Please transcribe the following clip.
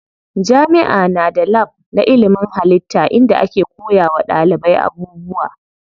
Jami'a na da lab na ilimin hallitta inda ake koya wa ɗalibai abubuwa.